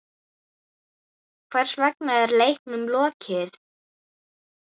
Hvers vegna er leiknum lokið?